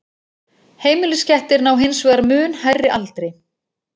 Heimiliskettir ná hins vegar mun hærri aldri.